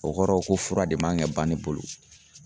O kɔrɔ ko fura de man ka ban ne bolo.